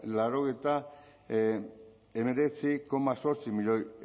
laurogeita hemeretzi koma zortzi milioi